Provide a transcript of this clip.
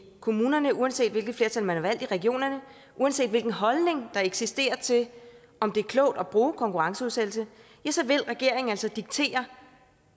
kommunerne uanset hvilke flertal man har valgt i regionerne uanset hvilken holdning der eksisterer til om det er klogt at bruge konkurrenceudsættelse ja så vil regeringen altså diktere